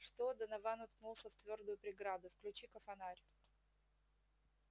что донован уткнулся в твёрдую преграду включи-ка фонарь